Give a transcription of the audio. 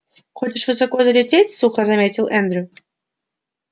хочешь высоко залететь сухо заметил эндрю